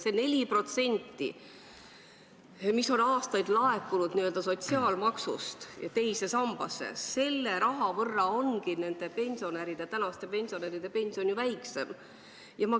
See 4% sotsiaalmaksust, mis on aastaid laekunud teise sambasse, ongi võetud praeguste pensionäride taskust, selle võrra on praeguste pensionäride pension väiksem.